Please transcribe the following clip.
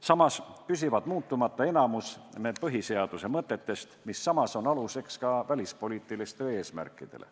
Samas püsib muutumata enamik põhiseaduse mõtetest, mis on aluseks ka välispoliitilistele eesmärkidele.